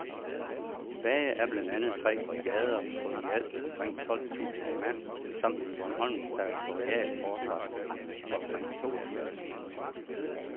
Tilbage er blandt andet tre brigader på i alt omkring tolv tusinde mand samt en bornholmsk territorial forsvarsstyrke på omkring to tusinde mand.